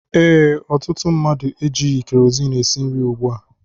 Ee, ọtụtụ mmadụ ejighi kerozini esi nri ùgbú a